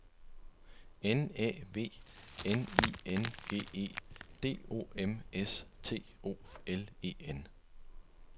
N Æ V N I N G E D O M S T O L E N